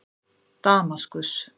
Damaskus